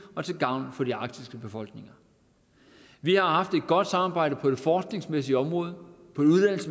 og til gavn for de arktiske befolkninger vi har haft et godt samarbejde på det forskningsmæssige område på